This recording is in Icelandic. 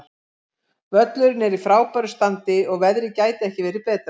Völlurinn er í frábæru standi og veðrið gæti ekki verið betra.